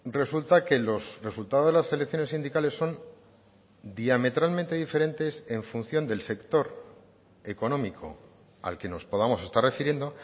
resulta que los resultados de las elecciones sindicales son diametralmente diferentes en función del sector económico al que nos podamos estar refiriendo